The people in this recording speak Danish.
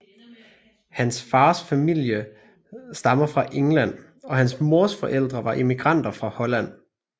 Hans fars familie stammer fra England og hans mors forældre var immigranter fra Holland